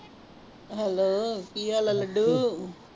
Hello ਕੀ ਹਾਲ ਹੈ ਲੱਡੂ